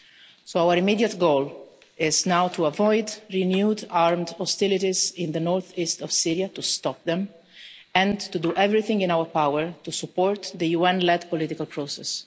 So our immediate goal is now to avoid renewed armed hostilities in the north-east of Syria, to stop them, and to do everything in our power to support the UN-led political process.